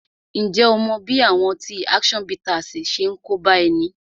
Ǹjẹ́ ó mọ bí àwọn ọtí action bittersi ṣe ń kóbá ẹni?